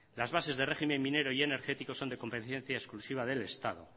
las bases de régimen minero y energético son de competencia exclusiva del estado